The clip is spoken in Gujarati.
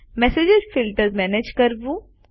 મેસેજ ફિલ્ટર્સ મેનેજ કરવું